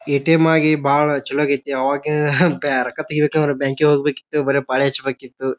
ATM ಆಗಿ ಬಹಳ ಚೊಲೊ ಆಗೆತಿ. ಅವಾಗ ಬ್ಯಾ ರೊಕ್ಕ ತಗಿಬೇಕಂದ್ರ ಬ್ಯಾಂಕ್ ಇಗ ಹೋಗ್ಬೇಕಿತ್ತು ಬ್ಯಾರೆ ಪಾಳೆ ಹಚ್ಬೇಕಿತ್ತು.